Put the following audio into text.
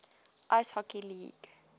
ice hockey league